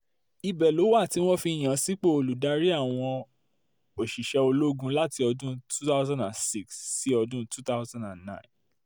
ibẹ̀ ló wà tí wọ́n fi yàn án sípò olùdarí àwọn um òṣìṣẹ́ ológun láti ọdún 2006 sí um 2009